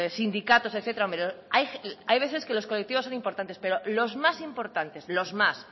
sindicatos etcétera hay veces que los colectivos son importantes pero los más importantes los más